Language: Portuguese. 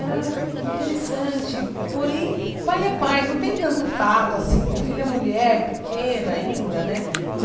Era interessante, porém, pai é pai, não tem tanto tato assim com filha mulher, pequena ainda, né?